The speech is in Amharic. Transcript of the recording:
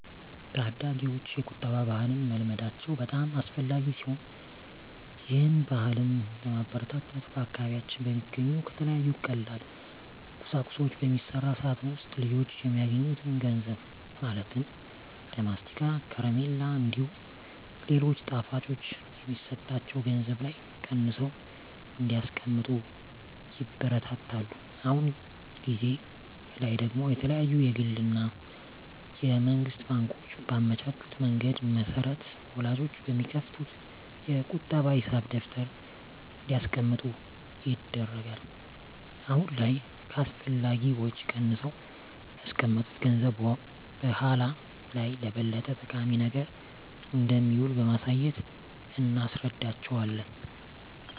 ታዳጊወች የቁጠባ ባህልን መልመዳቸው በጣም አስፈላጊ ሲሆን ይህን ባህልም ለማበረታታት በአካባቢያችን በሚገኙ ከተለያዩ ቀላል ቁሳቁሶች በሚሰራ ሳጥን ውስጥ ልጆች የሚያገኙትን ገንዘብ ማለትም ለማስቲካ፣ ከረሜላ እንዲሁም ሌሎች ጣፋጮች የሚሰጣቸው ገንዘብ ላይ ቀንሰው እንዲያስቀምጡ ይበረታታሉ። አሁን ጊዜ ላይ ደግሞ የተለያዩ የግል እና የመንግስት ባንኮች ባመቻቹት መንገድ መሰረት ወላጆች በሚከፍቱት የቁጠባ ሂሳብ ደብተር እንዲያስቀምጡ ይደረጋል። አሁን ላይ ከአላስፈላጊ ወጪ ቀንሰው ያስቀመጡት ገንዘብ በኃላ ላይ ለበለጠ ጠቃሚ ነገር እንደሚውል በማሳየት እናስረዳቸዋለን።